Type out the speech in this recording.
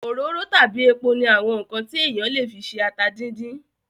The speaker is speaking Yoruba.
Òróró tàbí epo ní àwọn ǹkan tí èèyàn le fi se ata díndín